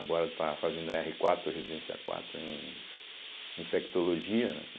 Agora está fazendo erre quatro, Residência quatro, em Infectologia, né.